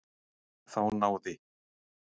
Þá náði